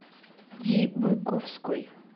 ди быковской